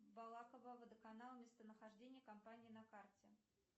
балакововодоканал местонахождение компании на карте